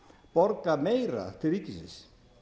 borga meira til ríkisins